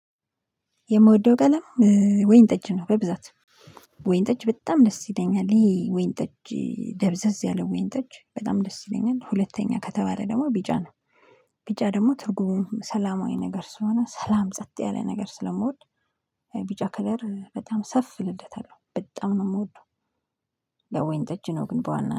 የምወደው ቀለም ወይን ጠጅ ነው። በብዛት ወይን ጠጅ በጣም ደስ ይለኛል ይሄ ወይን ጠጅ ደብዘዝ ያለው ወይን ጠጅ በጣም ደስ ይለኛል። ሁለተኛ ከተባለ ደግሞ ቢጫ ነው ቢጫ ደግሞ ትርጉሙ ሰላማዊ ነገር ስለሆነ ሰላም ጸጥ ያለ ነገር ስለምወድ ቢጫ ከለር በጣም ሰፍ እልለታለሁ በጣም ነው የምወደው። ያው ወይን ጠጅ ነው ግን በዋና